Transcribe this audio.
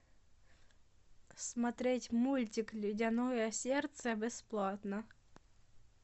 смотреть мультик ледяное сердце бесплатно